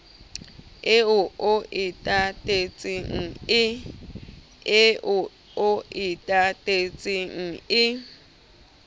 eo o e tatetseng e